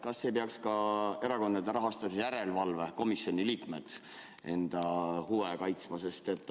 Kas ei peaks ka erakondade rahastamise järelevalve komisjoni liikmed enda huve?